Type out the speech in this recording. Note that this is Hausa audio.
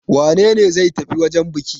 Wane ne zai tafi wajen buki?